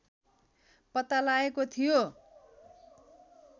पत्ता लागेको थियो